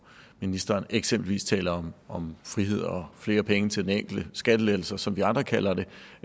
ministeren eksempelvis taler om frihed og flere penge til den enkelte skattelettelser som vi andre kalder